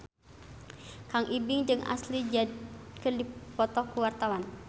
Kang Ibing jeung Ashley Judd keur dipoto ku wartawan